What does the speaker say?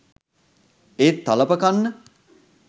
ඒත් තලප කන්න